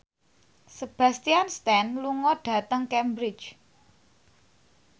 Sebastian Stan lunga dhateng Cambridge